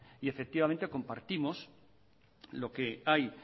y efectivamente compartimos lo que hay